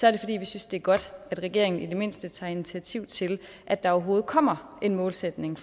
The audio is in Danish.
er det fordi vi synes det er godt at regeringen i det mindste tager initiativ til at der overhovedet kommer en målsætning